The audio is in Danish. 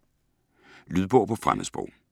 Lydbøger på fremmedsprog